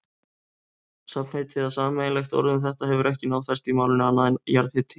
Safnheiti eða sameiginlegt orð um þetta hefur ekki náð festu í málinu, annað en jarðhiti.